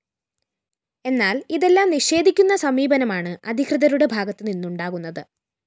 എന്നാല്‍ ഇതെല്ലാം നിഷേധിക്കുന്ന സമീപനമാണ് അധികൃതരുടെ ഭാഗത്ത് നിന്നുണ്ടാകുന്നത്